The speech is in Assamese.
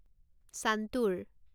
চান্তুৰ